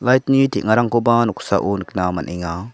light-ni teng·arangkoba noksao nikna man·enga.